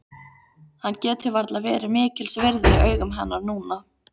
Hann getur varla verið mikils virði í augum hennar núna.